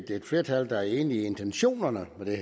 er et flertal der er enig i intentionerne med